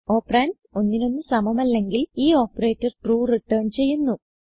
operands ഒന്നിനൊന്നു സമമല്ലെങ്കിൽ ഈ ഓപ്പറേറ്റർ ട്രൂ റിട്ടർൻ ചെയ്യുന്നു